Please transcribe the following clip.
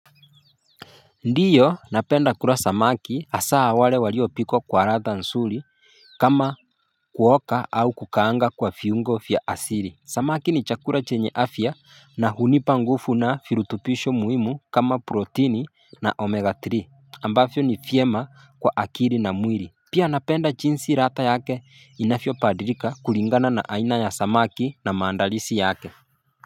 Ndiyo napenda kula samaki hasa wale waliopikwa kwa ladha nzuri kama kuoka au kukaanga kwa viungo vya asili Samaki ni chakula chenye afya na hunipa nguvu na virutubisho muhimu kama protini na omega three ambavyo ni vyema kwa akili na mwili Pia napenda jinsi ladha yake inavyobadilika kulingana na aina ya samaki na maandalizi yake.